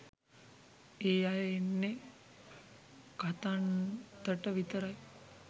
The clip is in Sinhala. ඒ අය එන්නේ කතන්තට විතරයි.